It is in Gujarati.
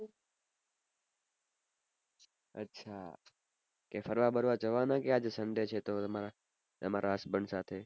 અચ્છા કે ફરવા વરવા જવા ના કે આજ sunday છે તો એમાં તમારા husband સાથે